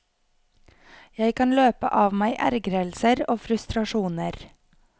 Jeg kan løpe av meg ergrelser og frustrasjoner.